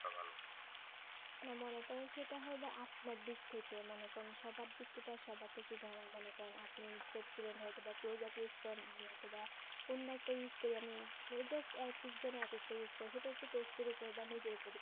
সেটা হবে আপনার দিক থেকে মানে কোন সদার দিকটা তো সবার ধরেন মনে করেন আপনি আমি অথবা অন্য একটা use করি আমি just এক এক জন একেকটা use করে সেটা হচ্ছে test এর ওপর বা নিজের